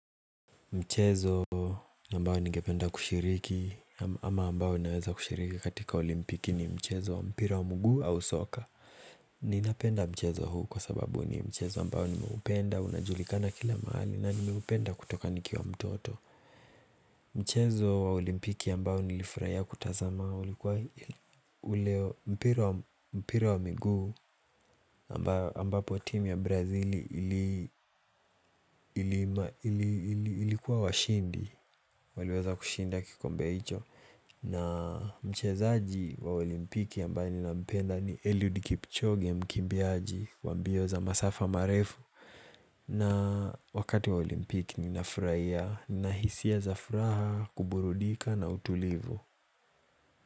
Mchezo ambao ningependa kushiriki ama ambao naweza kushiriki katika olimpiki ni mchezo wa mpira wa mguu au soka. Ninapenda mchezo huu kwa sababu ni mchezo ambao nimeupenda, unajulikana kila mahali na nimeupenda kutoka nikiwa mtoto. Mchezo wa olimpiki ambao nilifurahia kutazama ulikuwa ule mpira wa miguu ambapo team ya brazili ilikuwa washindi. Waliweza kushinda kikombea hicho na mchezaaji wa olimpiki ambaye ninampenda ni Eliud Kipchoge, mkimbiaji wa mbio za masafa marefu na wakati wa olimpiki ni nafuraia ninahisia za furaha, kuburudika na utulivu.